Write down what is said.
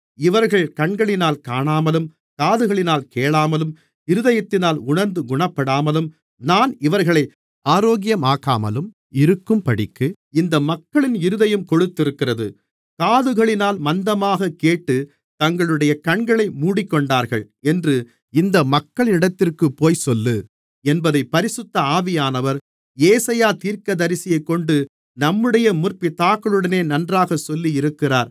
இவர்கள் கண்களினால் காணாமலும் காதுகளினால் கேளாமலும் இருதயத்தினால் உணர்ந்து குணப்படாமலும் நான் இவர்களை ஆரோக்கியமாக்காமலும் இருக்கும்படிக்கு இந்த மக்களின் இருதயம் கொழுத்திருக்கிறது காதுகளினால் மந்தமாகக் கேட்டுத் தங்களுடைய கண்களை மூடிக்கொண்டார்கள் என்று இந்த மக்களினிடத்திற்குப்போய்ச் சொல்லு என்பதைப் பரிசுத்த ஆவியானவர் ஏசாயா தீர்க்கதரிசியைக்கொண்டு நம்முடைய முற்பிதாக்களுடனே நன்றாகச் சொல்லியிருக்கிறார்